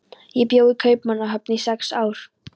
Ég bjó í Kaupmannahöfn í sex ár.